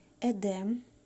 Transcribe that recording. эдем